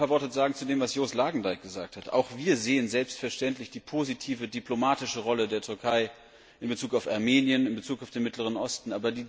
Ich will ein paar Worte zu dem Beitrag von Joost Lagendijk sagen. Auch wir sehen selbstverständlich die positive diplomatische Rolle der Türkei in Bezug auf Armenien, in Bezug auf den Mittleren Osten.